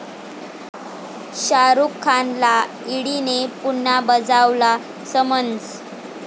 शाहरुख खानला 'ईडी'ने पुन्हा बजावला समन्स